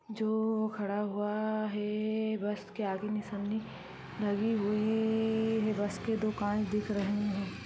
जो खड़ा हुआ है बस के आगे निशानी लगी हुई है बस के दो कान दिख रहे है।